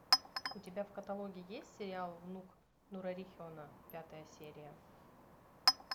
у тебя в каталоге есть сериал внук нурарихена пятая серия